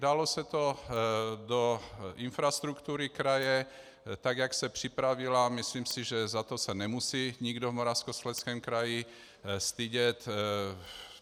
Dalo se to do infrastruktury kraje, tak jak se připravila, myslím si, že za to se nemusí nikdo v Moravskoslezském kraji stydět.